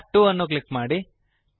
tab 2 ಅನ್ನು click ಮಾಡಿ